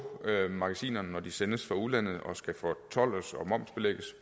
magasinerne når de sendes fra udlandet og skal fortoldes og momsbelægges